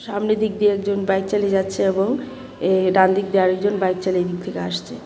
সামনে দিক দিয়ে একজন বাইক চালিয়ে যাচ্ছে এবং এ ডান দিক দিয়ে একজন বাইক চালিয়ে এদিক থেকে আসছে.